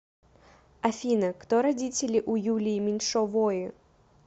афина кто родители у юлии меньшовои